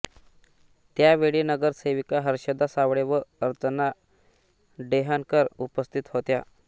त्यावेळी नगरसेविका हर्षदा सावळे व अर्चना डेहनकर उपस्थित होत्या